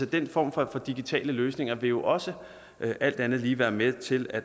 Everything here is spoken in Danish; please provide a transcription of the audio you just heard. den form for digitale løsninger vil jo også alt andet lige være med til at